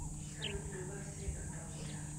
салют прибавь света в тамбуре